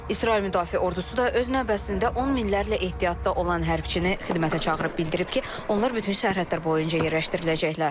İsrail Müdafiə Ordusu da öz növbəsində 10 minlərlə ehtiyatda olan hərbiçini xidmətə çağırıb, bildirib ki, onlar bütün sərhədlər boyunca yerləşdiriləcəklər.